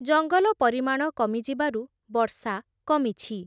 ଜଙ୍ଗଲ ପରିମାଣ କମିଯିବାରୁ ବର୍ଷା କମିଛି ।